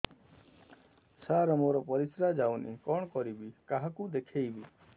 ସାର ମୋର ପରିସ୍ରା ଯାଉନି କଣ କରିବି କାହାକୁ ଦେଖେଇବି